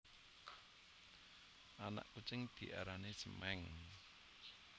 Anak kucing diarani cemèng